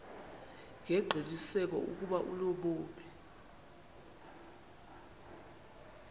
ngengqiniseko ukuba unobomi